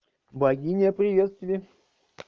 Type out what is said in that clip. богиня приветствие